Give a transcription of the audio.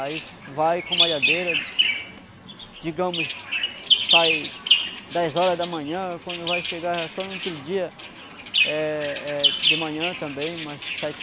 Aí vai com a malhadeira, digamos, sai dez horas da manhã, quando vai chegar só no outro dia eh eh de manhã também, umas sete